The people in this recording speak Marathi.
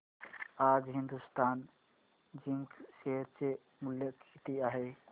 आज हिंदुस्तान झिंक शेअर चे मूल्य किती आहे